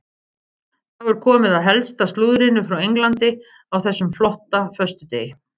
Þá er komið að helsta slúðrinu frá Englandi á þessum flotta föstudegi.